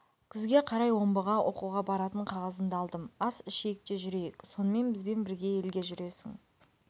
күзге қарай омбыға оқуға баратын қағазымды алдым ас ішейік те жүрейік сонымен бізбен бірге елге жүресің